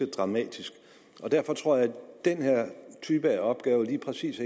dramatisk derfor tror jeg at den her type opgave lige præcis